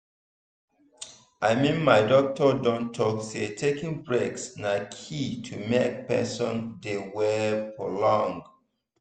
i mean my doctor don talk say taking breaks na key to make person dey well for long.